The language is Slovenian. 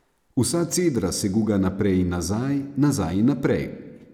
Vsa cedra se guga naprej in nazaj, nazaj in naprej.